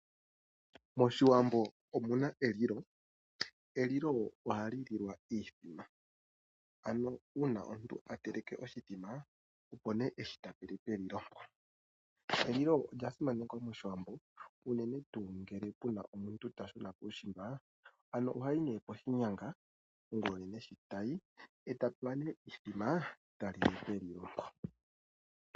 MOshiwambo omuna elilo. Elilo ohali lilwa iithima, ano uuna omuntu a teleke oshithima opo nee heshi tapele pelilo mpo. Elilo olya simanekwa mOshiwambo unene tuu ngele puna omuntu ta shuna kuushiimba ano ohayi nee poshinyanga ongulonene sho tayi eta pewa nee iithima ta lile melilo mo.